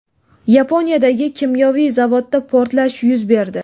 Yaponiyadagi kimyoviy zavodda portlash yuz berdi.